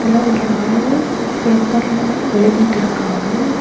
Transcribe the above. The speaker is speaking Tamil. இதுல ஒரு ஆளு பேப்பர்ல எழுதிட்டு இருக்காங்க.